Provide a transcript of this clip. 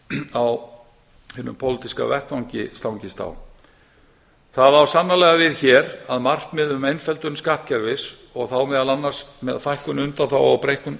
á hinum pólitíska vettvangi stangist á það á sannarlega við hér að markmið um einföldun skattkerfis og þá meðal annars með fækkun undanþága og breyttum